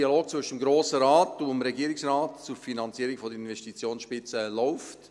Der Dialog zwischen dem Grossen Rat und dem Regierungsrat zur Finanzierung der Investitionsspitze läuft.